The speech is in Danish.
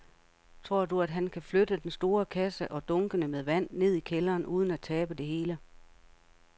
Tror du, at han kan flytte den store kasse og dunkene med vand ned i kælderen uden at tabe det hele?